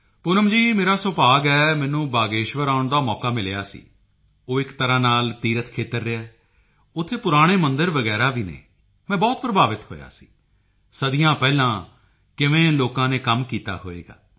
ਪੂਨਮ ਜੀ ਮੇਰਾ ਸੁਭਾਗ ਹੈ ਮੈਨੂੰ ਬਾਗੇਸ਼ਵਰ ਆਉਣ ਦਾ ਮੌਕਾ ਮਿਲਿਆ ਸੀ ਉਹ ਇੱਕ ਤਰ੍ਹਾਂ ਨਾਲ ਤੀਰਥ ਖੇਤਰ ਰਿਹਾ ਹੈ ਉੱਥੇ ਪੁਰਾਣੇ ਮੰਦਿਰ ਵਗੈਰਾ ਵੀ ਹਨ ਮੈਂ ਬਹੁਤ ਪ੍ਰਭਾਵਿਤ ਹੋਇਆ ਸੀ ਸਦੀਆਂ ਪਹਿਲਾਂ ਕਿਵੇਂ ਲੋਕਾਂ ਨੇ ਕੰਮ ਕੀਤਾ ਹੋਵੇਗਾ